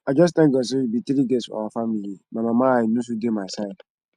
i just thank god say we be three girls for our family my mama eye no too dey my side